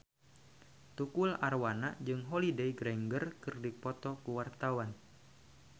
Tukul Arwana jeung Holliday Grainger keur dipoto ku wartawan